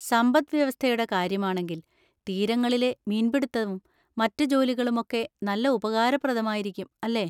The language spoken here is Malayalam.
സമ്പദ്‌വ്യവസ്ഥയുടെ കാര്യമാണെങ്കിൽ, തീരങ്ങളിലെ മീൻപിടിത്തവും മറ്റ് ജോലികളും ഒക്കെ നല്ല ഉപകാരപ്രദമായിരിക്കും, അല്ലേ?